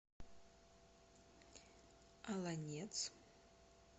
олонец